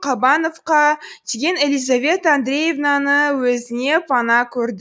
қабановқа тиген елизавета андреевнаны өзіне пана көр